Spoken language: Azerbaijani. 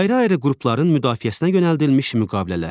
Ayrı-ayrı qrupların müdafiəsinə yönəldilmiş müqavilələr.